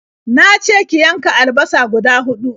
Na ce ki yanka alabasa guda huɗu.